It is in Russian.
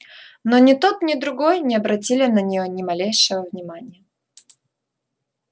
но ни тот ни другой не обратили на неё ни малейшего внимания